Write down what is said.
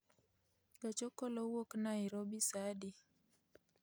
Gach okolo wuok Nairobi saa adi?